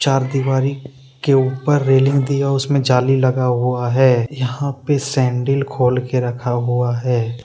चार दीवारी के ऊपर रेलिंग दिया। उसमें जाली लगा हुआ है। यहां पे सैंडिल खोल के रखा हुआ है।